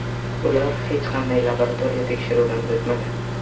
Ular hech qanday laboratoriya tekshiruvidan o‘tmagan.